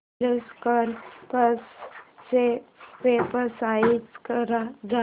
Kirloskar pumps च्या website वर जा